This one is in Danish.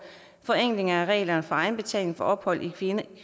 forenkling af reglerne for egenbetaling for ophold i